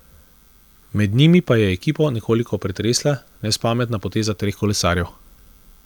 Med njimi pa je ekipo nekoliko pretresla nespametna poteza treh kolesarjev.